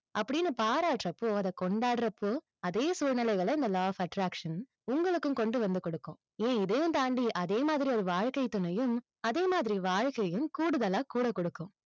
அப்படின்னு பாராட்டறப்போ, அதை கொண்டாடுறப்போ, அதே சூழ்நிலைகளை இந்த law of attraction உங்களுக்கும் கொண்டு வந்து கொடுக்கும். ஏன் இதையும் தாண்டி அதே மாதிரி வாழ்க்கைத் துணையும், அதே மாதிரி வாழ்க்கையும் கூடுதலா கூட கொடுக்கும்.